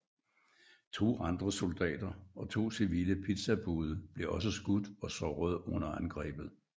To andre soldater og to civile pizzabude blev også skudt og sårede under angrebet